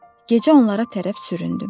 Gecə onlara tərəf süründüm.